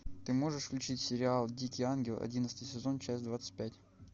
ты можешь включить сериал дикий ангел одиннадцатый сезон часть двадцать пять